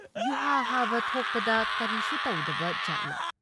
ꯌꯨꯍꯥꯔꯍꯥꯕ ꯊꯣꯛꯄꯗ ꯀꯔꯤꯁꯨ ꯇꯧꯗꯕ ꯖꯥꯠꯂꯥ?